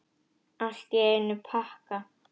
Allt í einum pakka!